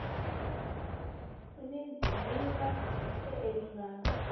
u ni ḓivha wee lingani